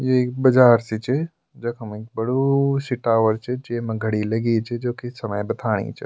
यु एक बाजार सी च जखम एक बडू सी टावर च जेमा घडी लगीं च जोकि समय बथाणी च।